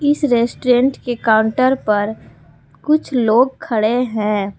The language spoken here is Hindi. इस रेस्टोरेंट के काउंटर पर कुछ लोग खड़े हैं।